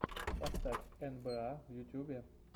поставь эн бэ а в ютубе